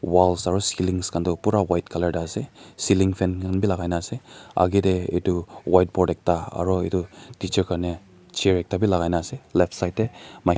Walls aro ceilings khan tuh pura white colour dae ase ceiling fan khan bhi lagaina ase agae dae etu whiteboard ekta aro etu teacher Karnae chair ekta bhi lagaina ase left side dae mi--